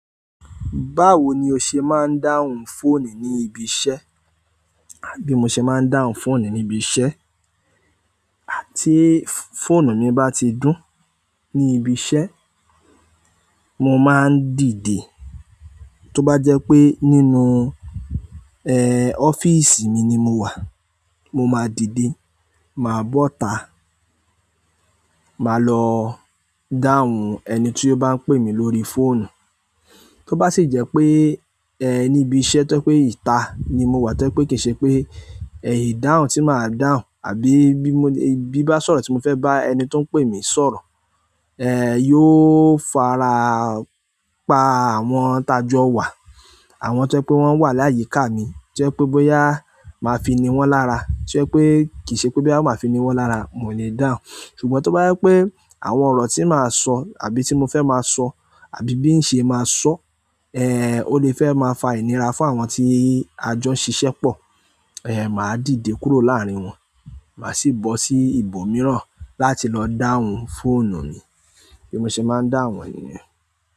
Báwo ni o ṣe máa ń dáhùn fóònù ní ibi iṣẹ́? Bí mo ṣe máa ń dáhùn fóònù ní ibi iṣẹ́, tí fóònù mi bá ti dún ní ibi iṣẹ́, mo máa ń dìde. Tó bá jẹ́ pé nínú, eh ọ́fíìsì mi ni mo wà, mo máa dìde, màá bọ́ta, màá lọ dáhùn ẹni tí ó bá ń pè mí lórí fóònù. Tó bá sì jẹ́ pé, eh ní ibi iṣẹ́ tó pé ìta ni mo wà tẹ́ pé kì í ṣe pé, eh ìdáhùn tí màá dáhùn àbí bí bá sọ̀rọ̀ tí mo fẹ́ bá ẹni tí ó ń pè mí sọ̀rọ̀, eh yóò fara pa àwọn tajọ wa. Àwọn tójẹ pé wọ́n wà láyìíká mi tojẹ́ pé bóyá a máa fini wọ́n lára tojẹ́ pé kì í ṣe pé bóyá máa fi ni wọ́n lára, mo le dáhùn. Ṣùgbọ́n tó bá jẹ́ pé àwọn ọ̀rọ̀ tí màá sọ àbí tí mo fẹ́ máa sọ àbí bí ń ṣe máa sọ, eh ó lè fẹ́ máa fa ìnira fún àwọn tí ajọ ń ṣiṣẹ́ pọ̀, eh màá dìde kúrò láàárín wọn. Màá sì bọ́ sí ibòmíràn láti lọ dáhùn fóònù mi. Bí mo ṣe máa ń dáhùn ẹ nìyẹn.